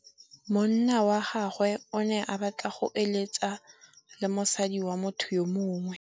Monna wa gagwe o ne a batla go êlêtsa le mosadi wa motho yo mongwe.